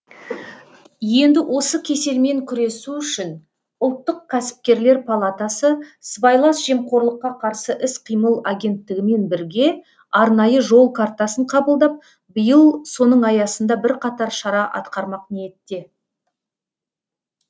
енді осы кеселмен күресу үшін ұлттық кәсіпкерлер палатасы сыбайлас жемқорлыққа қарсы іс қимыл агенттігімен бірге арнайы жол картасын қабылдап биыл соның аясында бірқатар шара атқармақ ниетте